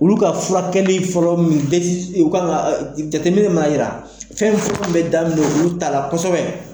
Olu ka fulakɛli fɔlɔ min u k'a dɔ a jateminɛw m'a yira fɛn fɔlɔ min bɛ daminɛ olu ta la kosɛbɛ